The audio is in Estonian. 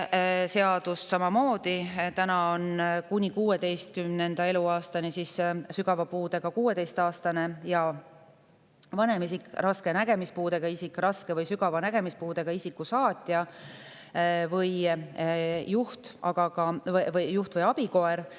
Täna on kuni 16. eluaastani, sügava puudega 16‑aastasel ja vanemal isikul, raske nägemispuudega isikul ning raske või sügava nägemispuudega isiku saatjal või juht- või abikoeral.